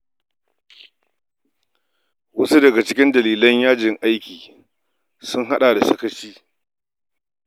Wasu daga cikin ƙarin dalilan yajin aiki sun haɗa da sakaci